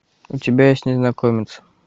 у тебя есть незнакомец